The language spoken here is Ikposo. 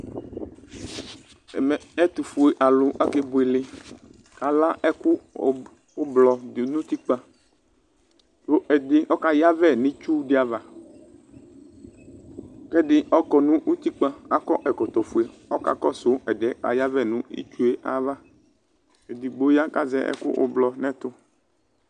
Ɛmɛ ɛtufue alʋ akebuele kʋ ala ɛkʋ ʋblɔ dʋ nʋ utikpa kʋ ɛdi ɔka yavɛ nʋ itsu di ava kʋ ɛdi ɔkɔ nʋ utikpa kʋ akɔ ɛkɔtɔfue ɔka kɔsʋ ɛdi yɛ kʋ ɔka yavɛ nʋ itsue ava edigbo ya kʋ azɛ ɛkʋ ʋblɔ nʋ ɛtʋ